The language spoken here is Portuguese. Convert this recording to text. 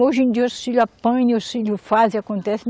Hoje em dia, os filho apanha, os filho faz e acontece.